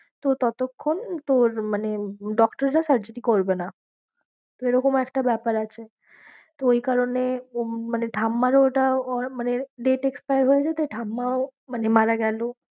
তো ততক্ষন তোর মানে doctor রা surgery করবে না। তো এরকম একটা ব্যাপার আছে তো ওই কারণে উম মানে ঠাম্মারও ওটা মানে date expire হয়ে যেতে ঠাম্মাও মানে মারা গেলো।